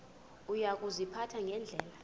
uya kuziphatha ngendlela